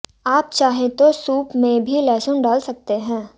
आप चाहे तो सूप में भी लहसुन डाल सकते हैं